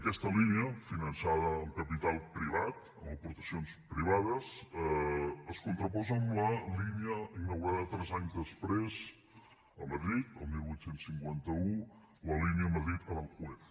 aquesta línia finançada amb capital privat amb aportacions privades es contraposa amb la línia inaugurada tres anys després a madrid el divuit cinquanta u la línia madrid aranjuez